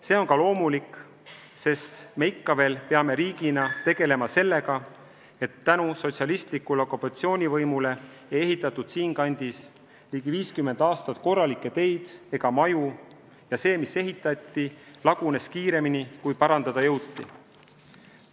See on ka loomulik, sest ikka veel seisame riigina tõsiasja ees, et sotsialistliku okupatsioonivõimu ajal ei ehitatud Eestis ligi 50 aastat korralikke teid ega maju ja see, mis ehitati, lagunes kiiremini, kui parandada jõuti.